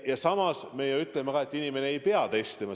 Ja samas me ütleme, et inimene ei pea testima.